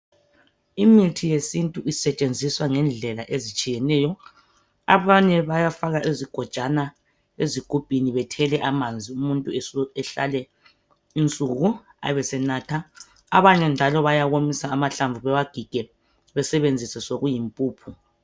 Imithi yesintu isetshenziswa ngendlela ezitshiyeneyo. Abanye bayafaka izigojwana ezigubhini, bethele amanzi, umuntu ehlale insuku ebesebenatha. Abanye njalo bayawomisa amahlamvu, bewagige, besebenzise sokuyimpuphu.